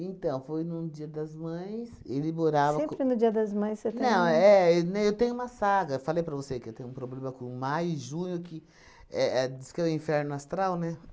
foi num dia das mães, ele morava co... Sempre no dia das mães você tem... Não é, eu tenho uma saga, falei para você que eu tenho um problema com o maio e junho, que é é diz que é o inferno astral, né?